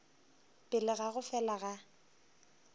pele ga go fela ga